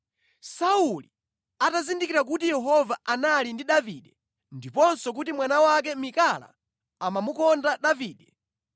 Sauli atazindikira kuti Yehova anali ndi Davide ndiponso kuti mwana wake Mikala amamukonda Davide,